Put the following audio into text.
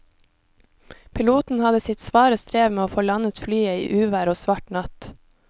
Piloten hadde sitt svare strev med å få landet flyet i uvær og svart natt.